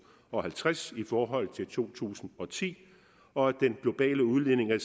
og halvtreds i forhold til to tusind og ti og at den globale udledning af